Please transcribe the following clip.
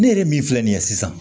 Ne yɛrɛ min filɛ nin ye sisan